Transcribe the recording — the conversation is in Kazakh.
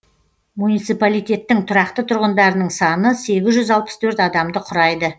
муниципалитеттің тұрақты тұрғындарының саны сегіз жүз алпыс төрт адамды құрайды